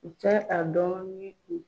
U tɛ a dɔn ni u